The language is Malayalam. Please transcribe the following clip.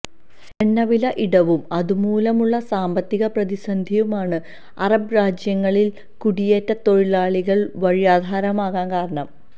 എണ്ണ വില ഇടിവും അതുമൂലമുള്ള സാമ്പത്തിക പ്രതിസന്ധിയുമാണ് അറബ് രാജ്യങ്ങളില് കുടിയേറ്റ തൊഴിലാളികള് വഴിയാധാരമാകാന് കാരണം